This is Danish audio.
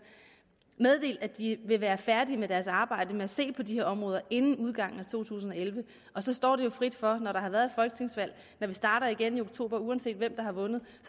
meddelt at de vil være færdige med deres arbejde med at se på de her områder inden udgangen af to tusind og elleve og så står det jo frit for når der har været et folketingsvalg når vi starter igen i oktober uanset hvem der har vundet